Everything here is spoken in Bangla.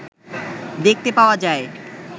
দেখতে পাওয়া যায়